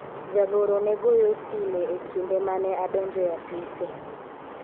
jagoro ne goyo sime e kinde mane adonjo e apise